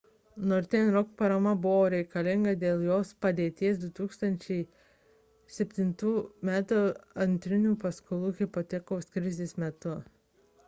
northern rock parama buvo reikalinga dėl jo padėties 2007 m antrinių būsto paskolų hipotekos krizės metu